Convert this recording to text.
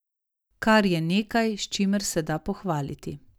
Kar je nekaj, s čimer se da pohvaliti.